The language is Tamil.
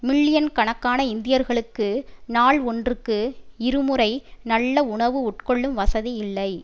மில்லியன் கணக்கான இந்தியர்களுக்கு நாள் ஒன்றுக்கு இருமுறை நல்ல உணவு உட்கொள்ளும் வசதி இல்லை